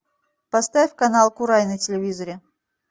поставь канал курай на телевизоре